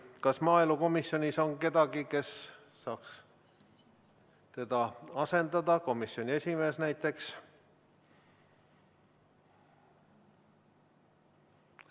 Kas maaelukomisjonis on kedagi, kes saaks teda asendada, komisjoni esimees näiteks?